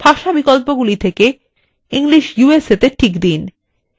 ভাষা বিকল্পগুলি থেকে english usa এ check দিন